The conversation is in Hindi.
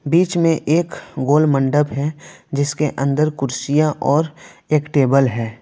बीच में एक गोल मंडप है जिसके अंदर कुर्सियां और एक टेबल है।